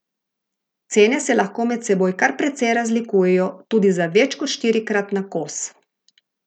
Cene se lahko med seboj kar precej razlikujejo, tudi za več kot štirikrat na kos.